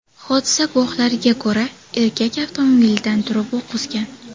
Hodisa guvohlariga ko‘ra, erkak avtomobilidan turib o‘q uzgan.